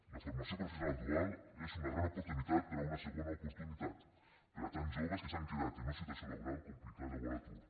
la formació professional dual és una gran oportunitat per a una segona oportunitat per a tants joves que s’han quedat en una situació laboral complicada o a l’atur